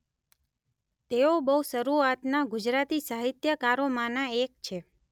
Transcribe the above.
તેઓ બહુ શરૂઆતનાં ગુજરાતી સાહિત્યકારોમાંનાં એક છે.